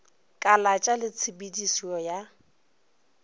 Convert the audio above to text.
kalatša le tshe pedišo ya